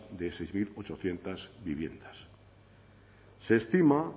de seis mil ochocientos viviendas se estima